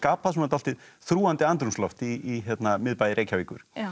svona dálítið þrúgandi andrúmsloft í miðbæ Reykjavíkur